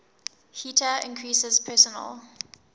heater increases personal